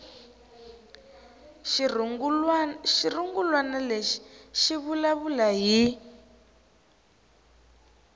xirungulwana lexi xi vulavula hi